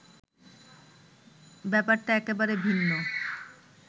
ব্যাপারটা একেবারে ভিন্ন